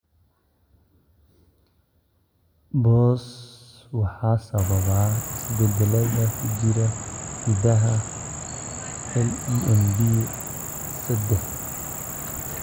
BOS waxaa sababa isbeddellada ku jira hiddaha LEMD sedex.